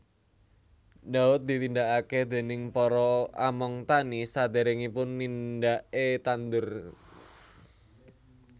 Ndhaut ditindakaké déning para among tani saderèngipun nindaké tandur